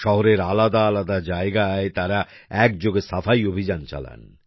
শহরের আলাদা আলাদা জায়গায় তারা একযোগে সাফাই অভিযান চালান